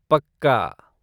पक्का।